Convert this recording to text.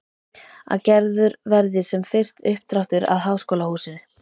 Að gerður verði sem fyrst uppdráttur að háskólahúsi.